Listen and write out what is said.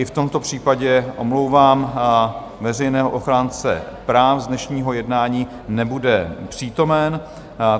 I v tomto případě omlouvám veřejného ochránce práv z dnešního jednání, nebude přítomen.